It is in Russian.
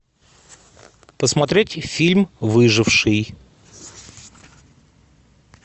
посмотреть фильм выживший